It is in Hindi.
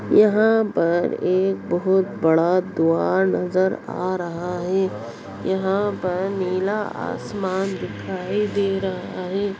यहां पर एक बहुत बड़ा द्वार नजर आ रहा है। यहां पर नीला आसमान दिखाई दे रहा है।